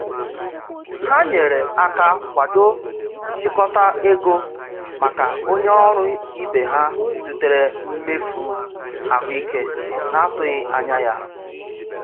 Ha nyere aka kwado nchịkọta ego maka onye ọrụ ibe ha zutere mmefu ahụike n'atụghị anya ya.